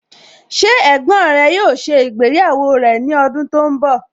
Ṣé ẹ̀gbọ́n rẹ yóò ṣe ìgbéyàwó rẹ̀ ní ọdún tó ń bọ̀?